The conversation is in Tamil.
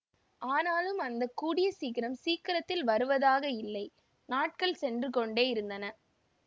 ஆனாலும் அந்த கூடிய சீக்கிரம் சீக்கிரத்தில் வருவதாக இல்லை நாட்கள் சென்று கொண்டே யிருந்தன